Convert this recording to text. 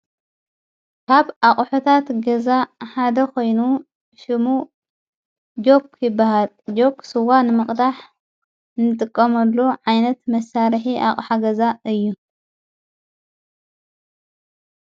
ካብ ኣቕሑታት ገዛ ሓደ ኾይኑ ሽሙ ጀክ ይብሃል ጀክ ስዋ ንመቕዳሕ ምጥቆመሉ ዓይነት መሣርሕ ኣቕሖገዛ እዩ::